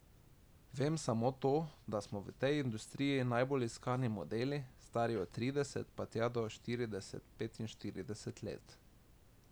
Vem samo to, da smo v tej industriji najbolj iskani modeli, stari od trideset pa tja do štirideset, petinštirideset let.